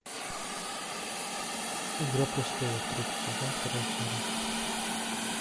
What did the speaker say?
игра престолов третий сезон вторая серия